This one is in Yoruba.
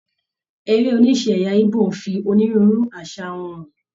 Eré oníṣe ẹyà Ìgbò n fi onírúurú àṣà wọn hàn.